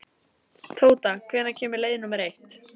Tóta, hvenær kemur leið númer eitt?